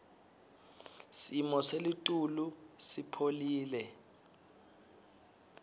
simo selitulu sipholile